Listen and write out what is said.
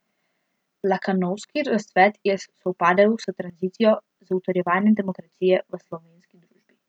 Lakanovski razcvet je sovpadel s tranzicijo, z utrjevanjem demokracije v slovenski družbi.